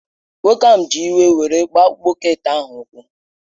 Nwoke ahụ ji iwe were gbaa bọket ahụ ụkwụ